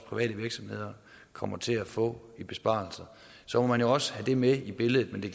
private virksomheder kommer til at få i besparelser så må man jo også have det med i billedet men det